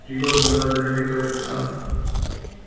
три года назад о нем никто не знал